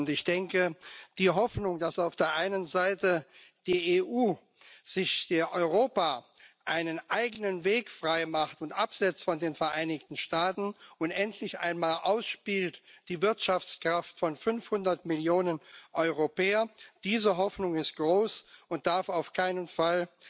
Ich denke, die Hoffnung, dass auf der einen Seite die EU, Europa sich einen eigenen Weg freimacht und sich absetzt von den Vereinigten Staaten und endlich einmal die Wirtschaftskraft von fünfhundert Millionen Europäern ausspielt, diese Hoffnung ist groß und darf auf keinen Fall